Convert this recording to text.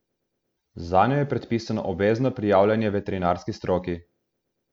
Zanjo je predpisano obvezno prijavljanje veterinarski stroki.